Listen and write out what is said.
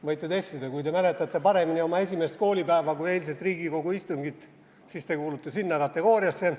Võite testida: kui te mäletate paremini oma esimest koolipäeva kui eilset Riigikogu istungit, siis te kuulute sinna kategooriasse.